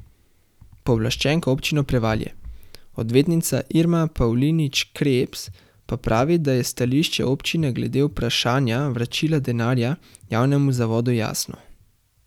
Pooblaščenka Občine Prevalje, odvetnica Irma Pavlinič Krebs, pa pravi, da je stališče občine glede vprašanja vračila denarja javnemu zavodu jasno.